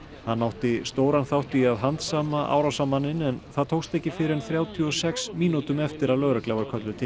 hann átti stóran þátt í að handsama árásarmanninn en það tókst ekki fyrr en þrjátíu og sex mínútum eftir að lögregla var kölluð til